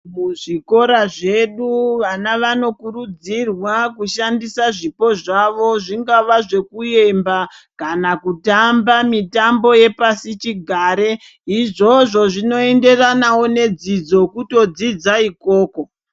Kuzvikora zvedu vana vanokurudzirwa kushandisa zvipo zvavo. Zvingava zvekuemba kana kutamba mitambo yepasichigare. Izvozvo zvinoenderanawo nedzidzo, kutodzidza ikoko.